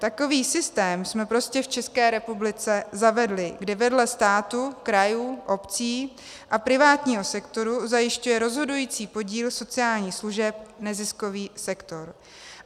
Takový systém jsme prostě v České republice zavedli, kde vedle státu, krajů, obcí a privátního sektoru zajišťuje rozhodující podíl sociálních služeb neziskový sektor.